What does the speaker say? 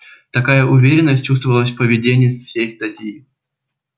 такая уверенность чувствовалась в поведении всей статьи